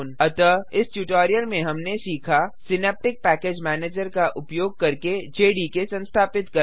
अतः इस ट्यूटोरियल में हमने सीखा सिनैप्टिक पेकैज मैनेजर का उपयोग करके जेडीके संस्थापित करना